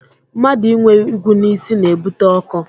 Mmadụ inwe igwu n'isi na-ebute ọkọ